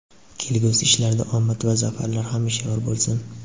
Kelgusi ishlarida omad va zafarlar hamisha yor bo‘lsin!.